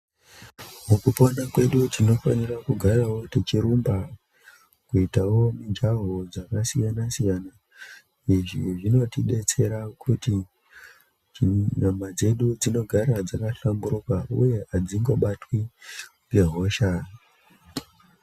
Mukupona kwedu tinofanira kugarawo techirumba kuitawo mujaho dzakasiyana siyana, izvi zvinotidetsera kuti nyama dzedu dzinogara dzaka hlamburuka uye adzingobatwi ngehosha.